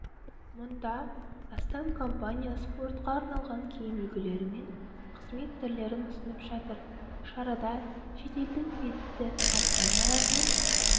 мұнда астам компания спортқа арналған киім үлгілері мен қызмет түрлерін ұсынып жатыр шарада шетелдің белді компанияларымен